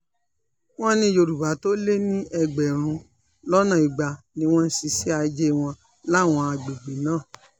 wọ́n ní yorùbá tó lé ní ẹgbẹ̀rún lọ́nà igba ni wọ́n ń ṣiṣẹ́ ajé wọn láwọn àgbègbè náà